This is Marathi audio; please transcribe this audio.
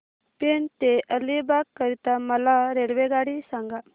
पेण ते अलिबाग करीता मला रेल्वेगाडी सांगा